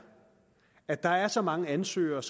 at der er så mange ansøgere at